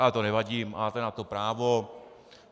Ale to nevadí, máte na to právo.